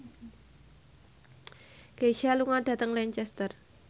Kesha lunga dhateng Lancaster